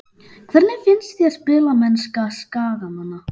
Hvernig finnst þér spilamennska Skagamanna?